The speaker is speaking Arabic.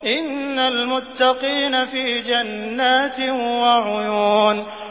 إِنَّ الْمُتَّقِينَ فِي جَنَّاتٍ وَعُيُونٍ